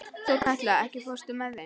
Þorkatla, ekki fórstu með þeim?